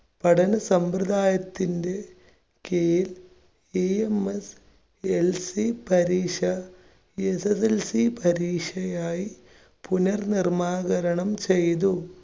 പഠന സമ്പ്രദായത്തിന്റെ കീഴിൽ EMSLC പരീക്ഷ SSLC പരീക്ഷയായി പുനർനിർമ്മാകരണം ചെയ്തു.